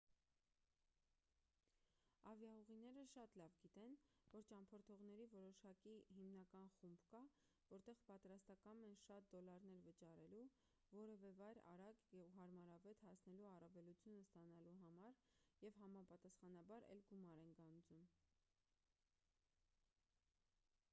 ավիաուղիները շատ լավ գիտեն որ ճամփորդողների որոշակի հիմնական խումբ կա ովքեր պատրաստակամ են շատ դոլարներ վճարելու որևէ վայր արագ ու հարմարավետ հասնելու առավելությունը ստանալու համար և համապատասխանաբար էլ գումար են գանձում